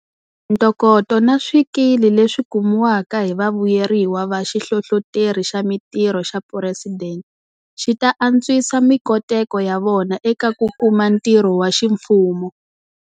Ntokoto na swikili leswi kumiwaka hi vavuyeriwa va Xihlohloteri xa Mitirho xa Phuresidente xi ta antswisa mikoteko ya vona eka ku kuma ntirho wa ximfumo.